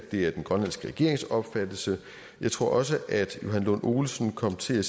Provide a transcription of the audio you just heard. det er den grønlandske regerings opfattelse jeg tror også at johan lund olsen kom til at